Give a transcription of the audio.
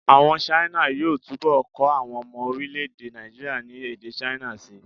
Àwọn China yóò túbọ̀ kọ́ àwọn ọmọ orílẹ̀-èdè Nàìjííríà ní èdè China síi